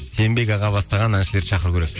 сенбек аға бастаған әншілерді шақыру керек